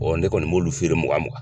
ne kɔni b'olu feere mugan mugan